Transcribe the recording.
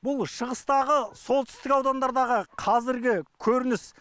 бұл шығыстағы солтүстік аудандардағы қазіргі көрініс